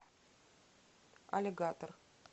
аллигатор